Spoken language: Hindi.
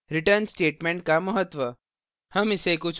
return statement का महत्व